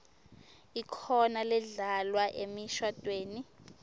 ikhona ledlalwa emishadvweni